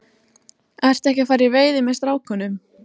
Ertu ekki að fara í veiði með strákunum?